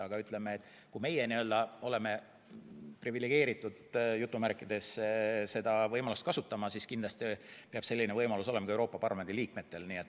Aga kui meie oleme privilegeeritud seda võimalust kasutama, siis kindlasti peab selline võimalus olema ka Euroopa Parlamendi liikmetel.